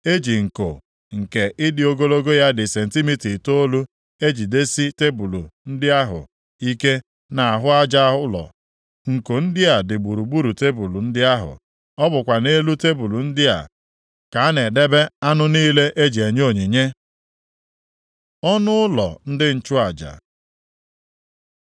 E ji nko nke ịdị ogologo ya dị sentimita itoolu ejigidesi tebul ndị ahụ ike nʼahụ aja ụlọ. Nko ndị a dị gburugburu tebul ndị ahụ. Ọ bụkwa nʼelu tebul ndị a ka a na-edebe anụ niile e ji enye onyinye. Ọnụ ụlọ ndị nchụaja